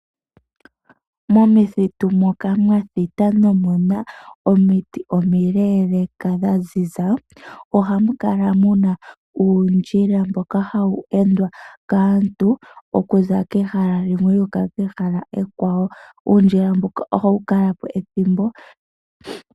Momakuti moka mwathita nomuna omiiti omileleka dha ziza, oha mu kala muna uundjila mbaka uleleka mboka hawu endwa kaantu okuza kehala limwe yuuka kekwawo. Uundila mbuka ohawu kala po ethimbo.